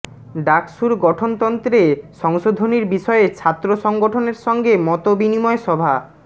ডাকসুর গঠনতন্ত্রে সংশোধনীর বিষয়ে ছাত্র সংগঠনের সঙ্গে মতবিনিময় সভা